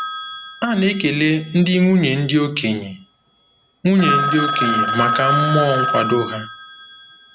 A na-ekele ndị nwunye ndị okenye nwunye ndị okenye maka mmụọ nkwado ha.